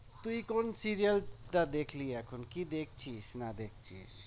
তুই কোন serial টা দেখলি এখন? কি দেখছিস না দেখছিস